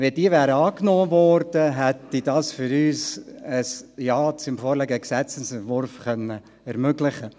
Wenn diese angenommen worden wären, hätte uns dies ein Ja zum vorliegenden Gesetzesentwurf ermöglicht.